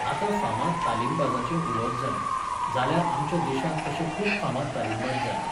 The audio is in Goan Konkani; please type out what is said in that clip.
आतां फामाद तालिमबाजाचें उलोवप जालें. जाल्यार, आमच्या देशांत तशे खूब फामाद तालिमबाज जाल्ले.